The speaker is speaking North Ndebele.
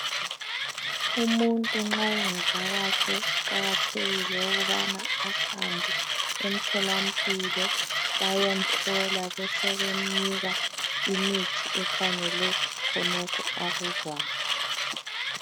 Umuntu nxa engezwa kahle kuqakathekile ukuthi ahambe emtholampilo bayemhlola besebemnika imithi efanele khonokho akuzwayo.